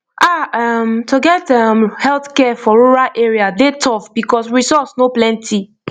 ah um to get um healthcare for rural area dey tough because resource no plenty